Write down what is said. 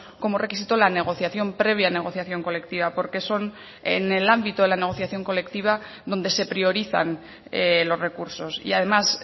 como requisito la negociación previa negociación colectiva porque son en el ámbito de la negociación colectiva donde se priorizan los recursos y además